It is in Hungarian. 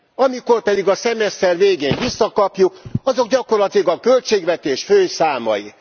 Amikor pedig a szemeszter végén visszakapjuk, azok gyakorlatilag a költségvetés fő számai.